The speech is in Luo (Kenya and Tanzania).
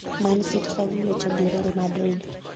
man city Ka gi gocho gi real Madrid